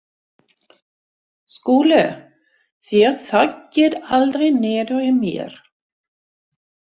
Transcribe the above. SKÚLI: Þér þaggið aldrei niður í mér.